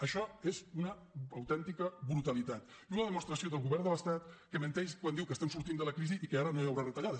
això és una autèntica brutalitat i una demostració del govern de l’estat que menteix quan diu que estem sortint de la crisi i que ara no hi haurà retallades